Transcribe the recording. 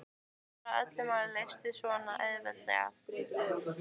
Bara að öll mál leystust svona auðveldlega.